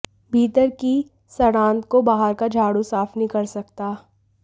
भीतर की सड़ाँध को बाहर का झाड़ू साफ़ नहीं कर सकता